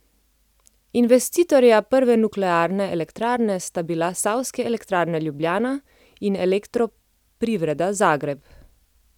Investitorja prve nuklearne elektrarne sta bila Savske elektrarne Ljubljana in Elektroprivreda Zagreb.